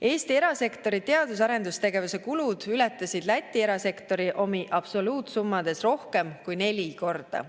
Eesti erasektori teadus‑ ja arendustegevuse kulud ületasid Läti erasektori omi absoluutsummades rohkem kui neli korda.